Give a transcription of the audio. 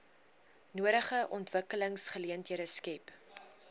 nodige ontwikkelingsgeleenthede skep